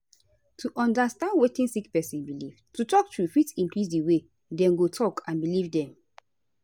to understand wetin sick person belief to talk truth fit increase di way dem go talk and belief dem